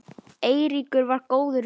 Eiríkur var góður vinur.